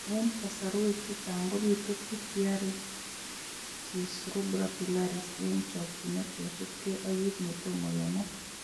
Eng' kasarwek chechang' kobitu pityriasis rubra pilaris eng' chokchinet kosubkei ak kiit netomo kenai